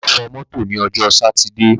Bàbá fọ mọ́tò ní ọjọ́ sátidé.